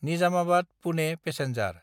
निजामाबाद–पुने passenger